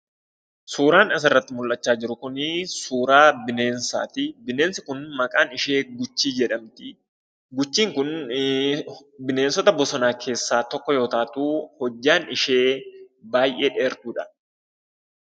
Suuraan asirratti mul'achaa jiru kunii suuraa bineensaati. Bineensi kun maqaan ishee guchii jedhamti. Guchiin kun bineensota bosonaa keessaa tokko yoo taatu hojjaan ishee baay'ee dheertuudha.